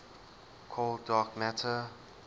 cold dark matter